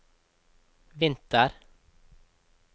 vinter